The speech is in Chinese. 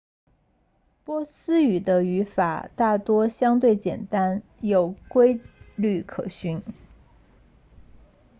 波斯语的语法大多相对简单有规律可循